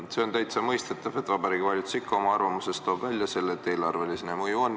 See on täitsa mõistetav, et Vabariigi Valitsus ikka oma arvamuses toob välja selle, et eelarvele siin mõju on.